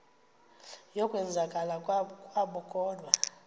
yokwenzakala kwabo kodwa